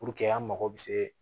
Puruke an mago bɛ se